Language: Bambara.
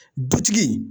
Dutigi